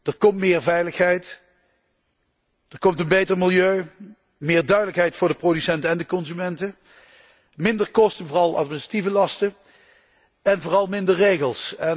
Er komt meer veiligheid, er komt een beter milieu, meer duidelijkheid voor de producenten en de consumenten, minder kosten, vooral administratieve lasten, en vooral minder regels.